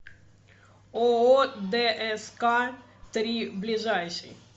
ооо дск три ближайший